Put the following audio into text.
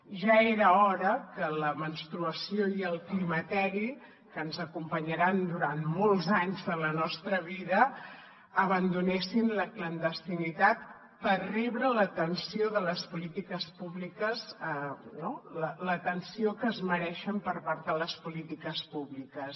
ja era hora que la menstruació i el climateri que ens acompanyaran durant molts anys de la nostra vida abandonessin la clandestinitat per rebre l’atenció de les polítiques públiques l’atenció que es mereixen per part de les polítiques públiques